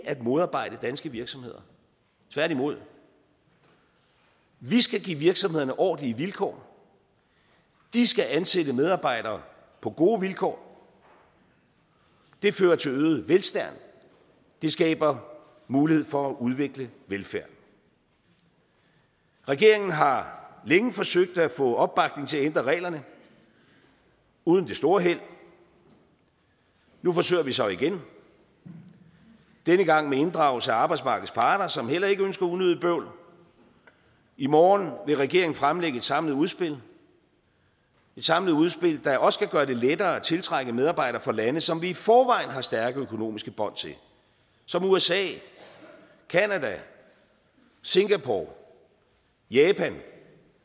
at modarbejde danske virksomheder tværtimod vi skal give virksomhederne ordentlige vilkår de skal ansætte medarbejdere på gode vilkår det fører til øget velstand det skaber mulighed for at udvikle velfærden regeringen har længe forsøgt at få opbakning til at ændre reglerne uden det store held nu forsøger vi så igen denne gang med inddragelse af arbejdsmarkedets parter som heller ikke ønsker unødigt bøvl i morgen vil regeringen fremlægge et samlet udspil et samlet udspil der også skal gøre det lettere at tiltrække medarbejdere fra lande som vi i forvejen har stærke økonomiske bånd til som usa canada singapore japan